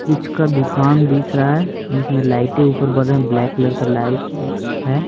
कुछ का दुकान दिख रहा है जिसमें लाइटें ऊपर बढ़ रहे हैं ब्लैक कलर का लाइट है।